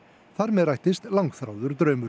þar með rættist langþráður draumur